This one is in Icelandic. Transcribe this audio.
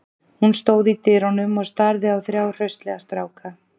Hún stóð í dyrunum og starði á þrjá hraustlega stráka.